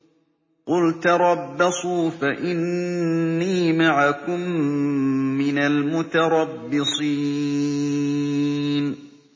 قُلْ تَرَبَّصُوا فَإِنِّي مَعَكُم مِّنَ الْمُتَرَبِّصِينَ